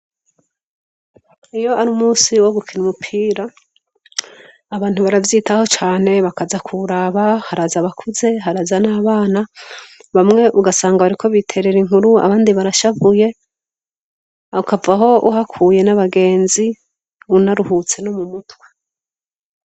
iyo ari umunsi wo gukina umupira abantu baravyitaho cane bakaza kuraba haraza abakuze haraza n'abana bamwe ugasanga bariko biterera inkuru abandi barashavuye ukavaho uhakuye n'abagenzi unaruhutse no mu mutwe